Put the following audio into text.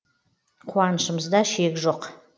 қуанышымызда шек жоқ